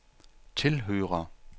tilhører